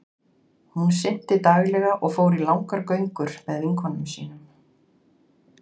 Hún synti daglega og fór í langar göngur með vinkonum sínum.